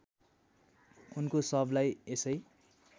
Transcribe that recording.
उनको शवलाई यसै